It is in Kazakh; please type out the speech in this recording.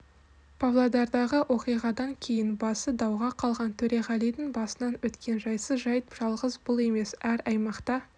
павлодардағы оқиғадан кейін басы дауға қалған төреғалидің басынан өткен жайсыз жайт жалғыз бұл емес әр аймақта